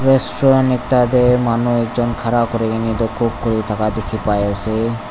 restaurant ekta te manu ekjon khara kori kene cook kori thaka dekhi pai ase.